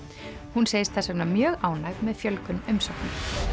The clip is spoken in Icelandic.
hún segist þess vegna mjög ánægð með fjölgun umsókna